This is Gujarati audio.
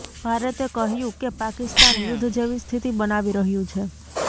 ભારતે કહ્યુ કે પાકિસ્તાન યુદ્ધ જેવી સ્થિતિ બનાવી રહ્યુ છે